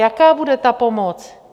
Jaká bude ta pomoc?